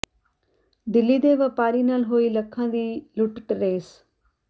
ਦਿੱਲੀ ਦੇ ਵਪਾਰੀ ਨਾਲ ਹੋਈ ਲੱਖਾਂ ਦੀ ਲੁੱਟ ਟਰੇਸ